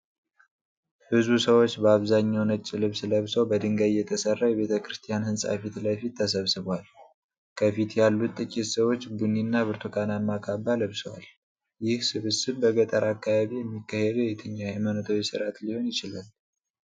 ብዙ ሰዎች በአብዛኛው ነጭ ልብስ ለብሰው በድንጋይ የተሰራ የቤተ ክርስቲያን ህንፃ ፊት ለፊት ተሰብስበዋል። ከፊት ያሉት ጥቂት ሰዎች ቡኒ እና ብርቱካናማ ካባ ለብሰዋል። ይህ ስብስብ በገጠር አካባቢ የሚካሄድ የትኛው የሃይማኖታዊ ሥርዓት ሊሆን ይችላል?